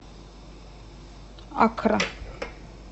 аккра